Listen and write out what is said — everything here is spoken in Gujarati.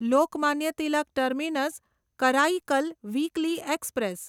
Lokmanya Tilak terminus Karaikal weekly express